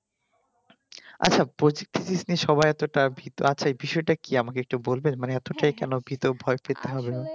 আচ্ছা প্রতি জিনিস কে নিয়ে এতো তা বিষয় তা কি আমাকে একটু বলবে মানে এতটাই কেন ভয় পেতে হবে